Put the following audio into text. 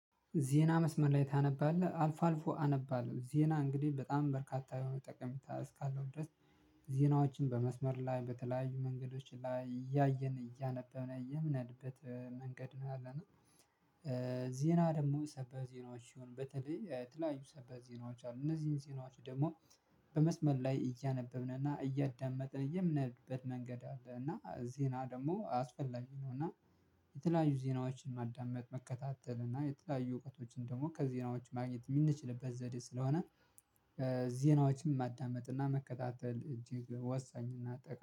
ዜና መስመር ላይ ታነባለህ አልፎ አልፎ አነባለው ዜና እንግዲህ በጣም በርካታ የሆነ ጠቀሜታ እስካለው ድረስ ዜናዎችን በመስመር ላይ በተለያዩ መንገዶች ላይ እያየን እያነበብን እያየን የምኔድበት መንገድ ነው ያለነው። ዜና ደግሞ ሰበር ዜናዎች ሲሆን በተለይ የተለያዩ ሰበር ዜናዎች አሉ እነዚህን ዜናዎች ደግሞ። በመስመር ላይ እያነበብን እና እያዳመጠ የምንሄድበት መንገድ አለ። እና ዜና ደግሞ አስፈላጊ ነው። እና የተለያዩ ዜናዎችን ማዳመጥ መከታተል እና የተለያዩ እውቀቶችን ደግሞ ከዜናዎች ማግኘት የምንችልበት ዘዴ ስለሆነ ዜናዎችን ማዳመጥ እና መከታተል እጅግ ወሳኝና ጠቃሚ